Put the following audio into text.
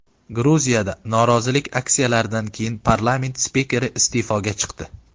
Gruziyada norozilik aksiyalaridan keyin parlament spikeri iste’foga chiqdi .